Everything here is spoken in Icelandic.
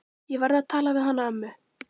Ég verð að tala við hana ömmu.